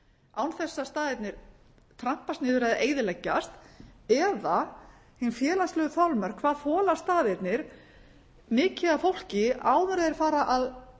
án þess að staðirnir trampist niður eða eyðileggjast eða hin félagslegu þolmörk hvað þola staðirnir mikið af fólki áður en þeir fara að